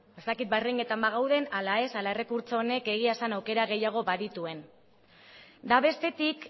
ez dakit bagauden ala ez ala errekurtso honek egia esan aukera gehiago badituen eta bestetik